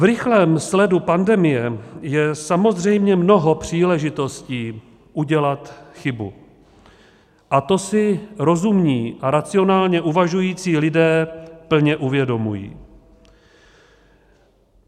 V rychlém sledu pandemie je samozřejmě mnoho příležitostí udělat chybu a to si rozumní a racionálně uvažující lidé plně uvědomují.